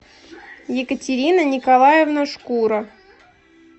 екатерина николаевна шкура